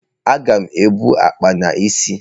Aga m ebu akpa n'isi.